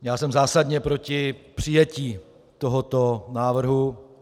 Já jsem zásadně proti přijetí tohoto návrhu.